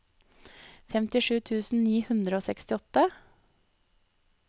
femtisju tusen ni hundre og sekstiåtte